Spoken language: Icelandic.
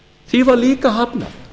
því var líka hafnað